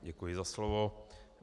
Děkuji za slovo.